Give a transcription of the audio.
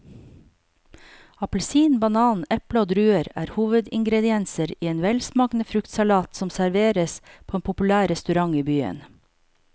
Appelsin, banan, eple og druer er hovedingredienser i en velsmakende fruktsalat som serveres på en populær restaurant i byen.